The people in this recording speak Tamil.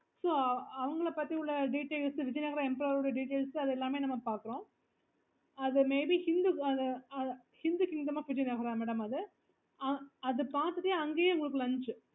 அவங்கள பத்தி உள்ள detailsvijay nagar empire details அது எல்லாமே நம்ம வந்து பாக்குறோம்